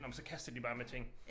Nåh men så kaster de bare ting